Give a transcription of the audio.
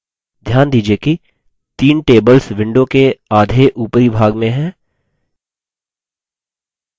ध्यान दीजिये कि तीन tables window के आधे उपरी भाग में हैं